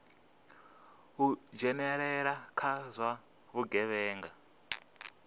u dzhenelela kha zwa vhugevhenga